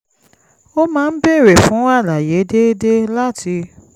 ó máa ń béèrè fún àlàyé déédéé láti